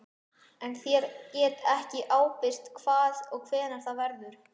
En ég get ekki ábyrgst hvar og hvenær það verður.